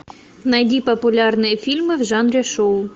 найди популярные фильмы в жанре шоу